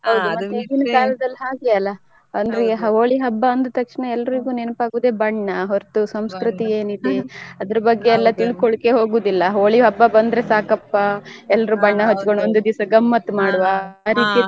ಹಾ ಈಗಿನ ಕಾಲದಲ್ಲಿ ಹಾಗೆ ಅಲ್ಲ ಅಂದ್ರೆ ಹೋಳಿ ಹಬ್ಬ ಅಂದ ತಕ್ಷಣ ಎಲ್ರಿಗೂ ನೆನ್ಪ್ ಆಗುದೆ ಬಣ್ಣ ಹೊರತು ಸಂಸ್ಕೃತಿ ಏನಿದೆ ಅದ್ರ ಬಗ್ಗೆ ಎಲ್ಲ ತಿಳ್ಕೊಳಲಿಕ್ಕೆ ಹೋಗುದಿಲ್ಲ ಹೋಳಿ ಹಬ್ಬ ಬಂದ್ರೆ ಸಾಕಪ್ಪ ಒಂದು ದಿವಸ ಗಮ್ಮತ್ ಮಾಡುವ think ಮಾಡ್ತಾರೆ.